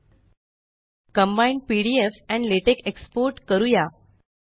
export combined PDF and LaTeX export करूया